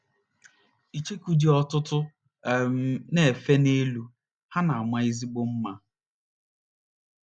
ng! ICHEOKU dị́ ọtụtụ um na - efe n’elu, ha na - ama ezigbo mma.